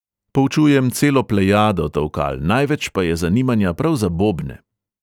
Poučujem celo plejado tolkal, največ pa je zanimanja prav za bobne.